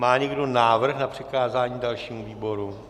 Má někdo návrh na přikázání dalšímu výboru?